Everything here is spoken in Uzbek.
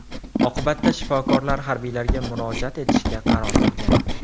Oqibatda shifokorlar harbiylarga murojaat etishga qaror qilgan.